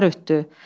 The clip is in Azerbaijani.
Tanklar ötdü.